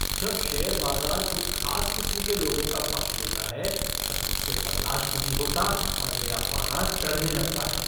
जब शेयर बाज़ार कुछ खास किस्म के लोगों का पक्ष लेता है तब मुझसे बर्दाश्त नहीं होता और मेरा पारा चढ़ने लगता है।